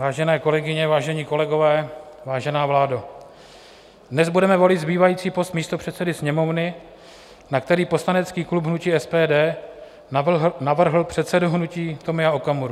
Vážené kolegyně, vážení kolegové, vážená vládo, dnes budeme volit zbývající post místopředsedy Sněmovny, na který poslanecký klub hnutí SPD navrhl předsedu hnutí Tomia Okamuru.